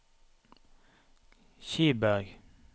Kiberg